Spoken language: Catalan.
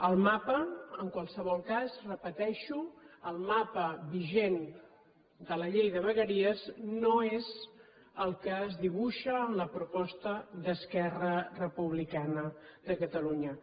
el mapa en qualsevol cas ho repeteixo el mapa vigent de la llei de vegueries no és el que es dibuixa en la proposta d’esquerra republicana de catalunya